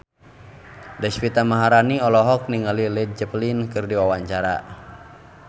Deswita Maharani olohok ningali Led Zeppelin keur diwawancara